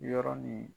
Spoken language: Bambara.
Yɔrɔ ni